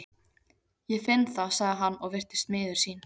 Ég finn það, sagði hann og virtist miður sín.